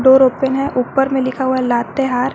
Door open है ऊपर में लिखा हुआ है लातेहार।